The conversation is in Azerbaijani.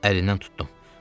Əlindən tutdum.